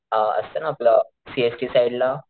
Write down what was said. अ असत ना आपलं सी एस टी साइडला,